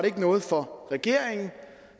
ikke noget for regeringen